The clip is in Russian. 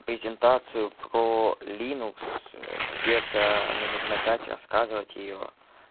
презентацию про линукс где-то минут на пять рассказывать её